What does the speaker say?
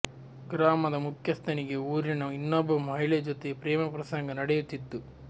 ಗ್ರಾಮದ ಮುಖ್ಯಸ್ಥನಿಗೆ ಊರಿನ ಇನ್ನೊಬ್ಬ ಮಹಿಳೆ ಜೊತೆ ಪ್ರೇಮ ಪ್ರಸಂಗ ನಡೆಯುತ್ತಿತ್ತು